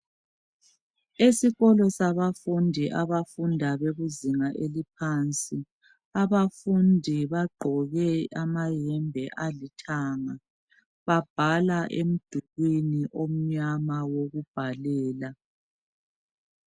Esikolo sabafundi abafunda bekuzinga eliphansi, abafundi bagqoke amayembe alithanga babhala emdulwini omnyama wokubhalela.